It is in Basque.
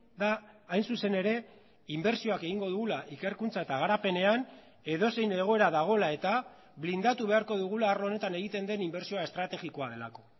da hain zuzen ere inbertsioak egingo dugula ikerkuntza eta garapenean edozein egoera dagoela eta blindatu beharko dugula arlo honetan egiten den inbertsioa estrategikoa delako